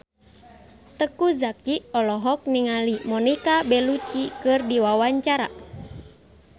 Teuku Zacky olohok ningali Monica Belluci keur diwawancara